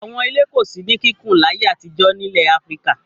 Àwọn ilé kò sí ní kíkùn láyé àtijọ́ nílẹ̀ Áfíríkà.